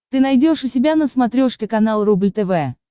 ты найдешь у себя на смотрешке канал рубль тв